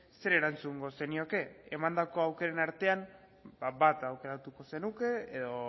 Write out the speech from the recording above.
zer erantzungo zenioke emandako aukeran artean ba bat aukeratuko zenuke edo